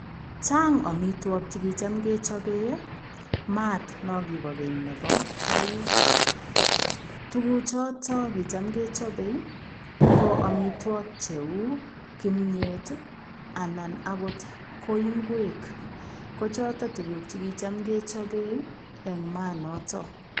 Chaang amitwagiik che kuchaam kechape, maat naan kibaa keeny nebo koik, tuguuk chotoon kicham kechapei ii ko amitwagiik che uu kimyet ii anan akoot ko ngemeek ko chotoon tuguuk chetam kechapeen en maat notoon.